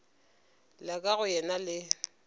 la ka go yena le